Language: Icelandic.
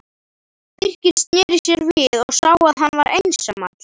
Birkir sneri sér við og sá að hann var einsamall.